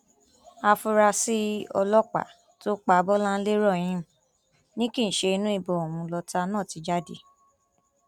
áfúrásì ọlọpàá tó pa bọláńlé rahim ni kì í ṣe inú ìbọn òun lọtá náà ti jáde